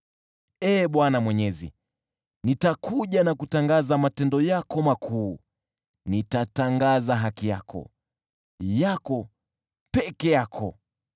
Ee Bwana Mwenyezi, nitakuja na kutangaza matendo yako makuu, nitatangaza haki yako, yako peke yako.